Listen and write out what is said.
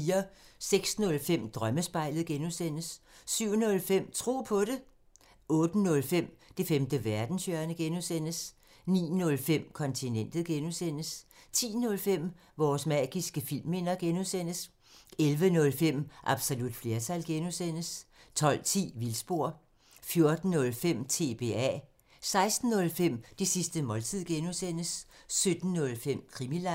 06:05: Drømmespejlet (G) 07:05: Tro på det 08:05: Det femte verdenshjørne (G) 09:05: Kontinentet (G) 10:05: Vores magiske filmminder (G) 11:05: Absolut flertal (G) 12:10: Vildspor 14:05: TBA 16:05: Det sidste måltid (G) 17:05: Krimiland